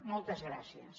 moltes gràcies